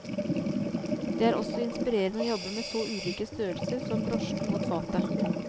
Det er også inspirerende å jobbe med så ulike størrelser som brosjen mot fatet.